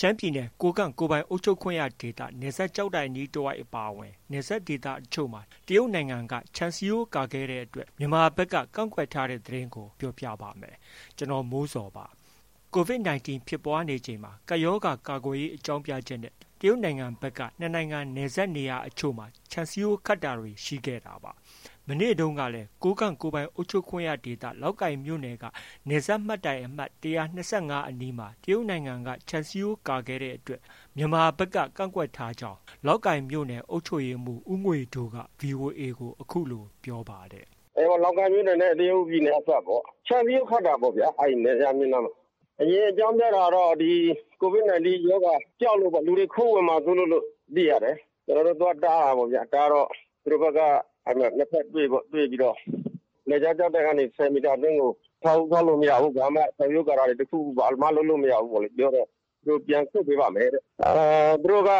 ရှမ်းပြည်နယ် ကိုးကန့်ကိုယ်ပိုင်အုပ်ချုပ်ခွင့်ရဒေသ- နယ်စပ် ကျောက်တိုင်အနီးတဝိုက် အပါအဝင် နယ်စပ်ဒေသတချို့မှာ တရုတ်နိုင်ငံက ခြံစည်းရိုးကာခဲ့တဲ့အတွက် မြန်မာဘက်က ကန့်ကွက်ထားတဲ့ သတင်းကို ဗွီအိုအေမြန်မာပိုင်းသတင်းထောက် ကိုမိုးဇော်က ပြောပြပါမယ်။ COVID 19 ဖြစ်ပွားနေချိန်မှာ ကပ်ရောဂါ ကာကွယ်ရေး အကြောင်းပြချက်နဲ့ တရုတ်နိုင်ငံဘက်က နှစ်နိုင်ငံနယ်စပ်နေရာအချို့မှာ ခြံစည်းရိုး ခတ်တာတွေ ရှိခဲ့တာပါ။ မနေ့တုန်းကလည်း ကိုးကန့် ကိုယ်ပိုင်အုပ်ချုပ်ခွင့်ရဒေသ လောက်ကိုင်မြို့နယ်က နယ်စပ်မှတ်တိုင်အမှတ် ၁၂၅ အနီးမှာ တရုတ်နိုင်ငံက ခြံစည်းရိုးကာခဲ့တဲ့အတွက် မြန်မာဘက်က ကန့်ကွက်ထားကြောင်း လောက်ကိုင်မြို့နယ် အုပ်ချုပ်ရေးမှူး ဦးငွေဒိုးက VOA ကို အခုလို ပြောပါတယ်။ “လောက်ကိုင်မြို့နယ်နဲ့ တရုတ်ပြည်နယ်အစပ်ပေါ့။ ခြံစည်းရိုးခတ်တာပေါ့။ အဲဒီနယ်စပ်မျဉ်းနားမှာ။ အရင် အကြောင်းပြတာတော့ COVID 19 ရောဂါကြောက်လို့ပေါ့။ အရင်အကြောင်းပြတာက လူတွေ ခိုးဝင်မှာ စိုးလို့လို့ သိရတယ်။ ကျနော်တို့ သွားတားတာပေါ့ဗျာ။ တားတော့ သူတို့ဘက်က နှစ်ဘက်တွေ့ပေါ့။ တွေ့တော့ နယ်ခြားကျောက်တိုင်ကနေ ၁၀ မီတာအတွင်းကို အဆောက်အဦးဆောက်လို့ မရဘူး။ ခြံစည်းရိုးကာတာတွေ ဘာမှ လုပ်လို့ မရဘူးလို့ ပြောတော့ သူတို့ ပြန်ဆုတ်ပေးပါမယ်တဲ့။ သူတို့က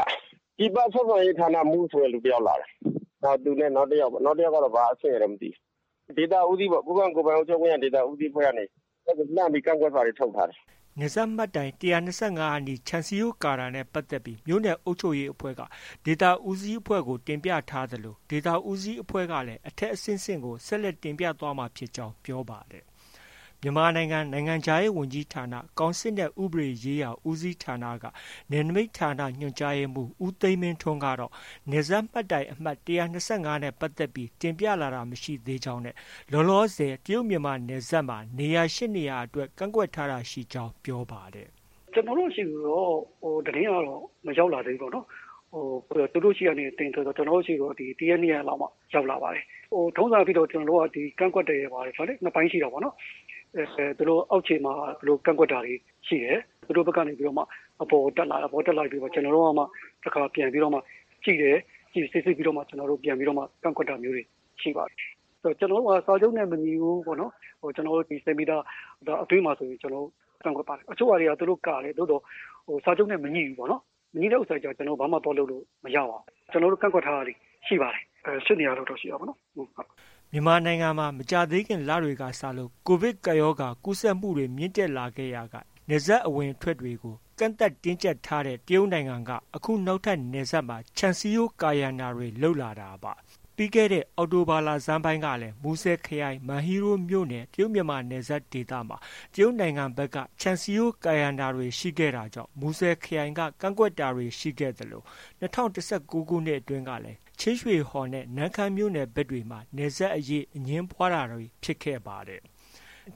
ပြည်ပ ဆက်ဆံရေးဌာနမှူးဆိုတဲ့ တစ်ယောက်လာတယ်။ သူနဲ့ နောက်တစ်ယောက်ပေါ့။ နောက်တစ်ယောက်ကတော့ ဘာအဆင့်ရယ်လို့ မသိဘူး။ ဒေသဦးစီးပေါ့။ ကိုးကန့်ကိုယ်ပိုင်အုပ်ချုပ်ခွင့်ရဒေသ ဦးစီးအဖွဲ့ကနေ ဟိုဘက်ကို ကန့်ကွက်စာတွေ ထုတ်ထားတယ်။” နယ်စပ်မှတ်တိုင်အမှတ် ၁၂၅ အနီး ခြံစည်းရိုးကာတာနဲ့ ပတ်သက်ပြီး မြို့နယ်အုပ်ချုပ်ရေးအဖွဲ့က ဒေသဦးစီး အဖွဲ့ကို တင်ပြထားသလို ဒေသဦးစီးအဖွဲ့ကလည်း အထက်အဆင့်ဆင့်ကို ဆက်လက်တင်ပြသွားမှာဖြစ်ကြောင်း ပြောပါတယ်။ မြန်မာနိုင်ငံ နိုင်ငံခြားရေးဝန်ကြီးဌာန၊ ကောင်စစ်နဲ့ ဥပဒေရေးရာ ဦးစီးဌာနက နယ်နမိတ်ဌာန ညွှန်ကြားရေးမှူး ဦးသိန်းမင်းထွန်းကတော့ နယ်စပ်မှတ်တိုင်အမှတ် ၁၂၅ နဲ့ ပတ်သက်ပြီး တင်ပြလာတာမရှိသေးကြောင်းနဲ့ လောလောဆယ် တရုတ်မြန်မာနယ်စပ်မှာ နေရာ ၈ နေရာလောက် ကန့်ကွက်ထားတာရှိကြောင်း ပြောပါတယ်။ “ကျနော်တို့ ဆီကိုတော့ သတင်းကတော့ မရောက်လာသေးဘူးပေါ့နော်။ သူတို့ဆီကနေ တင်ဆိုတော့ ကျနော်တို့ ဆီကိုတော့ တစ်ရက်၊ နှစ်ရက်လောက်မှ ရောက်လာပါတယ်။ ထုံးစံအားဖြင့်တော့ ကျနော်တို့က ဒီ ကန့်ကွက်တယ်ဆိုတာ နှစ်ပိုင်းရှိတာပေါ့နော်။ အောက်ခြေမှာ သူတို့ ကန့်ကွက်တာတွေ ရှိတယ်။ သူတို့ဘက်ကနေ အပေါ်တက်လာတယ်။ တက်လာရင် ကျနော်တို့ကမှ တစ်ခါ ပြန်ပြီးတော့မှာ ကြည့်တယ်။ စိစစ်ပြီးတော့မှ ပြန်ပြီးတော့ ကန့်ကွက်တာမျိုးတွေ ရှိတာပေါ့။ ကျနော်တို့က စာချုပ်နဲ့ မညီရင် ၁၀ မီတာအတွင်းမှာ ဆိုရင် ကျနော်တို့ ကန့်ကွက်ပါတယ်။ တချို့ဟာတွေက သူတို့ ကာတယ်။ သို့သော် စာချုပ်နဲ့ မငြိဘူးပေါ့နော်။ မငြိတဲ့ဟာတွေက ဘာမှ သွားလုပ်လို့ မရဘူးပေါ့။ ကျနော်တို့ ကန့်ကွက်ထားတာတွေ ရှိပါတယ်။ ၈ နေရာလောက်တော့ ရှိတာပေါ့နော်။” မြန်မာနိုင်ငံမှာ မကြာသေးခင်လတွေကစလို့ ကိုဗစ်ကပ်ရောဂါ ကူးစက်မှုတွေ မြင့်တက်လာရာက နယ်စပ်အဝင်အထွက်တွေကို ကန့်သတ်တင်းကြပ်ထားတဲ့ တရုတ်နိုင်ငံက အခုနောက်ထပ် နယ်စပ်မှာ ခြံစည်းရိုးကာရံတာတွေ လုပ်လာတာပါ။ ပြီးခဲ့တဲ့ အောက်တိုဘာလဆန်းပိုင်းကလည်း မူဆယ်ခရိုင်၊ မန်ဟီးရိုးမြို့နယ် တရုတ်မြန်မာနယ်စပ်ဒေသမှာ တရုတ်နိုင်ငံဘက်က ခြံစည်းရိုးကာရံတာတွေ ရှိခဲ့တာကြောင့် မူဆယ်ခရိုင်က ကန့်ကွက်တာတွေ ရှိခဲ့သလို၂၀၁၉ ခုနှစ်ကလည်း ချင်းရွှေဟော်နဲ့ နမ့်ခမ်းမြို့နယ်ဘက်တွေမှာ နယ်စပ်အရေး အငြင်းပွားတာတွေ ဖြစ်ခဲ့ပါတယ်။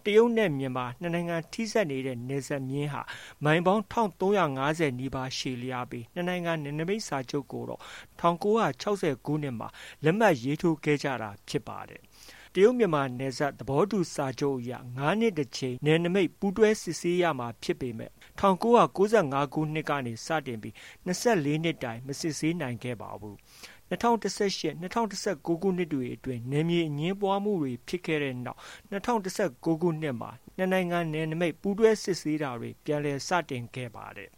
တရုတ်နဲ့ မြန်မာနှစ်နိုင်ငံ ထိစပ်နေတဲ့ နယ်ခြားမျဉ်းဟာ မိုင်ပေါင်း ၁၃၅၀ နီးပါး ရှည်လျားပြီး နှစ်နိုင်ငံ နယ်နမိတ်စာချုပ်ကိုတော့ ၁၉၆၀ ခုနှစ်မှာ လက်မှတ် ရေးထိုးခဲ့ကြတာဖြစ်ပါတယ်။ တရုတ်မြန်မာနယ်စပ်သဘောတူစာချုပ်အရ ၅ နှစ်တစ်ကြိမ် နယ်နိမိတ်ပူးတွဲစစ်ဆေးရမှာဖြစ်ပေမဲ့ ၁၉၉၅ ကနေ စတင်ပြီး ၂၄ နှစ်တိုင် မစစ်ဆေးနိုင်ခဲ့ပါဘူး။ ၂၀၁၈- ၂၀၁၉ခုနှစ်တွေအတွင်း နယ်မြေအငြင်းပွားတာတွေ ဖြစ်ခဲ့တဲ့နောက် ၂၀၁၉ ခုနှစ်မှာ ၂ နိုင်ငံနယ်နိမိတ်ပူးတွဲစစ်ဆေးမှုတွေလည်း ပြန်လည် စတင်ခဲ့ပါတယ်